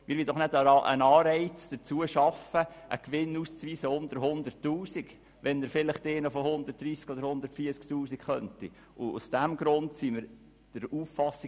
Ich will doch keinen Anreiz dafür schaffen, einen Gewinn unter 100 000 Franken auszuweisen, wenn vielleicht ein solcher von 130 000 Franken oder mehr ausgewiesen werden kann.